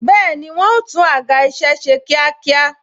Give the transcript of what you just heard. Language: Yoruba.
Bẹẹni, wọn o tún àga isẹ ṣe kíákíá